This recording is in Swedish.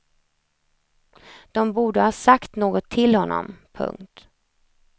De borde ha sagt något till honom. punkt